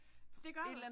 Det gør det!